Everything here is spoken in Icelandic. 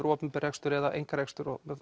opinber rekstur eða einkarekstur og